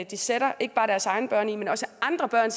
de sætter ikke bare deres egne børn i men også andre børn